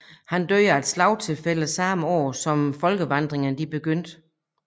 Han døde af et slagtilfælde samme år som folkevandringerne begyndte